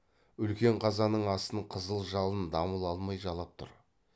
үлкен қазанның астын қызыл жалын дамыл алмай жалап тұр